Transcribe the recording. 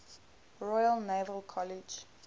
royal naval college